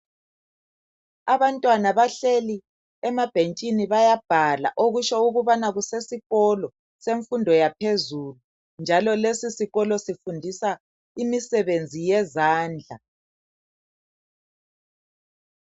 Abantwana bahleli emabhentshini bayabhala okutsho ukubana kusesikolo semfundo yaphezulu njalo lesi sikolo sifundisa imisebenzi yezandla.